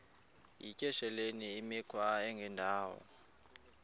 yityesheleni imikhwa engendawo